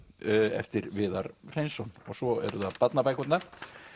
eftir Viðar Hreinsson og svo eru það barnabækurnar